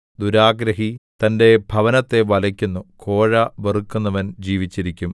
ദുരാഗ്രഹി തന്റെ ഭവനത്തെ വലയ്ക്കുന്നു കോഴ വെറുക്കുന്നവൻ ജീവിച്ചിരിക്കും